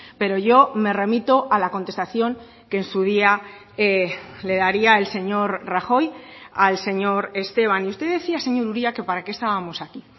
pero yo me remito a la contestación que en su día le daría el señor rajoy al señor esteban y usted decía señor uria que para qué estábamos aquí